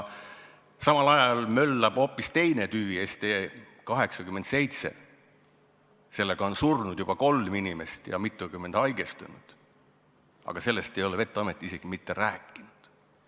Samal ajal möllab hoopis teine tüvi, ST87, sellega on surnud juba kolm inimest ja mitukümmend haigestunud, aga sellest ei ole vet-amet isegi mitte rääkinud.